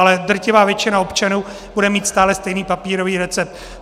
Ale drtivá většina občanů bude mít stále stejný papírový recept.